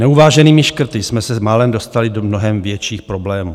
Neuváženými škrty jsme se málem dostali do mnohem větších problémů.